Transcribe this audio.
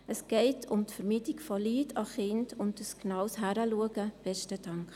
Es geht um die Vermeidung des Leids von Kindern und um ein genaues Hinschauen.